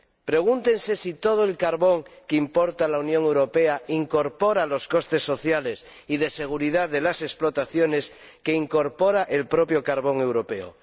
Pregúntense si todo el carbón que importa la Unión Europea incorpora los costes sociales y de seguridad de las explotaciones que incorpora el propio carbón europeo.